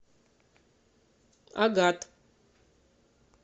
агат